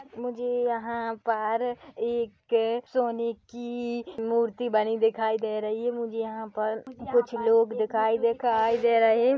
मुझे यहाँ पर एक सोने की मूर्ति बनी दिखाई दे रही है मुझे यहाँ पर कुछ लोग दिखाई दिखाई दे रहे--